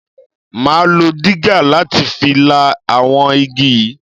Máa lo digger láti fi la àwọn igi yìí.